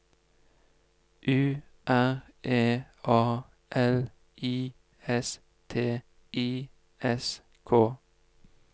U R E A L I S T I S K